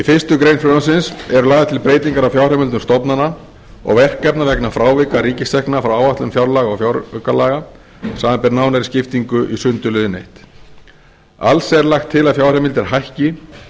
fyrstu grein frumvarpsins eru lagðar til breytingar á fjárheimildum stofnana og verkefna vegna frávika ríkistekna frá áætlun fjárlaga og fjáraukalaga samanber nánari skiptingu í sundurliðun fyrsta alls er lagt til að fjárheimildir hækki